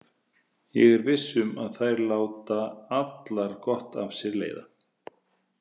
Ég er viss um að þær láta allar gott af sér leiða.